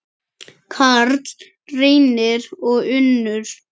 Karl Reynir og Unnur.